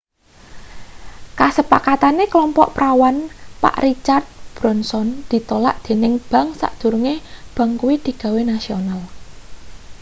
kasepakatane klompok prawan pak richard branson ditolak dening bank sadurunge bank kuwi digawe nasional